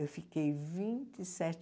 Eu fiquei vinte e sete